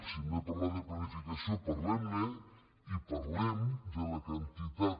si hem de parlar de planificació parlem ne i parlem de la quantitat